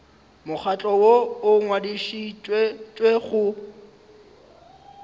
mokgatlo woo o ngwadišitšwego go